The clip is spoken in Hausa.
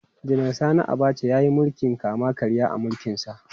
Janar Sani Abacha ya yi mulkin kama-karya a mulkinsa.